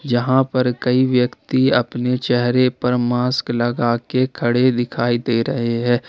यहां पर कई व्यक्ति अपने चेहरे पर मास्क लगाकर खड़े दिखाई दे रहे हैं।